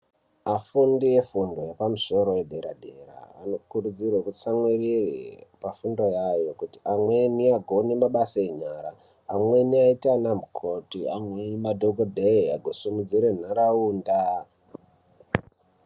Afundi efundo yepamusoro yedera-dera anokurudzirwe kutsamwirire pafundo yavo. Kuti amweni agone mabasa enyara. Amweni aite ana mukoti amwe madhogodheya kusimudzire ntaraunda.